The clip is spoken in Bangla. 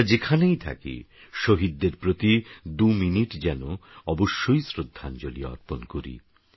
আমরাযেখানেইথাকিশহীদদেরপ্রতি২মিনিটযেনঅবশ্যইশ্রদ্ধাঞ্জলীঅর্পণকরি